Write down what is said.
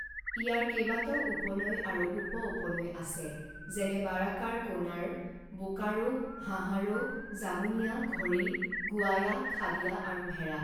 ইয়াৰ কেইবাটাও উপনৈ আৰু উপ উপনৈ আছে যেনে বাৰাকাৰ কোনাৰ বোকাৰো হাহাৰো জামুনিয়া ঘৰী গুৱায়া খাদিয়া আৰু ভেৰা।